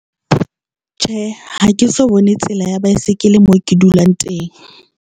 Tjhe, ha ke so bone tsela ya baesekele moo ke dulang teng.